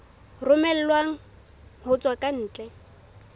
romellwang ho tswa ka ntle